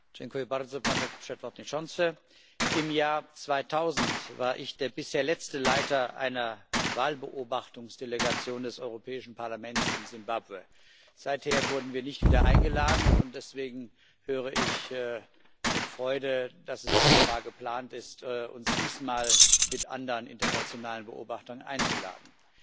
Panie Przewodniczący! Im Jahr 2000 war ich der bisher letzte Leiter einer Wahlbeobachtungsdelegation des Europäischen Parlaments in Simbabwe. Seither wurden wir nicht wieder eingeladen, und deswegen höre ich mit Freude, dass es offenbar geplant ist, uns diesmal mit anderen internationalen Beobachtern einzuladen.